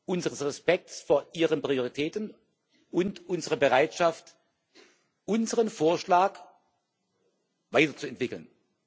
unseres Respekts vor Ihren Prioritäten und unserer Bereitschaft, unseren Vorschlag weiterzuentwickeln.